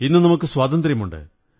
ഇന്നു നമുക്ക് സ്വാതന്ത്ര്യമുണ്ട്